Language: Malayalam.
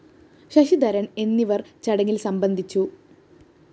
ശശിധരന്‍ എന്നിവര്‍ ചടങ്ങില്‍ സംബന്ധിച്ചു